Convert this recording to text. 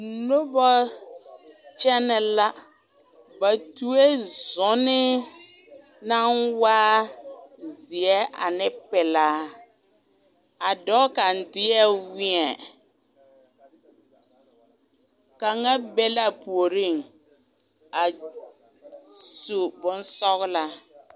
Nobɔ kyɛnɛ la, ba tuoe zunii naŋ waa zeɛ ane pelaa, a dɔɔ kaŋ deɛ wēɛ, kaŋa be la a puoriŋ a su bonsɔgelaa.